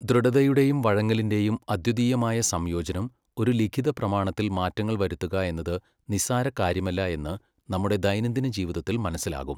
ദൃഢതയുടെയും വഴങ്ങലിന്റെയും അദ്വിതീയമായ സംയോജനം ഒരു ലിഖിത പ്രമാണത്തിൽ മാറ്റങ്ങൾ വരുത്തുക എന്നത് നിസ്സാര കാര്യമല്ല എന്ന് നമ്മുടെ ദൈനം ദിനജീവിതത്തിൽ മനസ്സിലാകും.